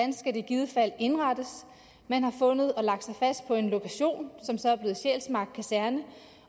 i givet fald skulle indrettes man har fundet og lagt sig fast på en lokation som så er blevet sjælsmark kaserne